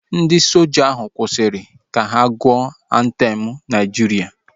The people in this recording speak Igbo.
Ndị soja ahu kwụsịrị ka ha gụọ antem Naijiria